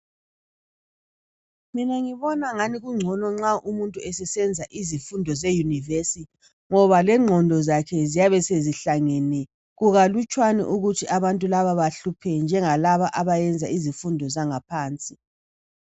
Mina ngibona angani kungcono nxa umuntu esesenza izifundo zeyunivesithi ngoba lengqondo zakhe ziyabe sezihlangene kukalutshwani ukuthi abantu laba bahluphe njengalaba abayenza izifundo zangaphansi.